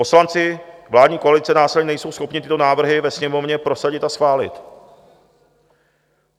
Poslanci vládní koalice následně nejsou schopni tyto návrhy ve Sněmovně prosadit a schválit.